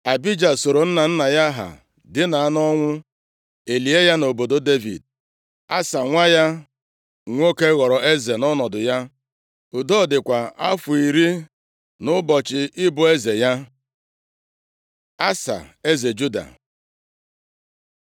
Abija sooro nna nna ya ha dina nʼọnwụ, e lie ya nʼobodo Devid. Asa, nwa ya nwoke ghọrọ eze nʼọnọdụ ya. Udo dịkwa afọ iri nʼụbọchị ịbụ eze ya. Asa eze Juda